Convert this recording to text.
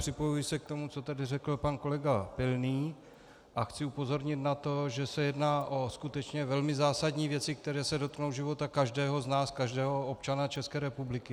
Připojuji se k tomu, co tady řekl pan kolega Pilný, a chci upozornit na to, že se jedná o skutečně velmi zásadní věci, které se dotknou života každého z nás, každého občana České republiky.